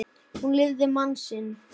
Hún lifði mann sinn.